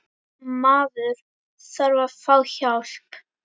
Maður þarf að fá hjálp.